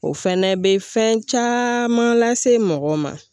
O fɛnɛ bɛ fɛn caman lase mɔgɔ ma.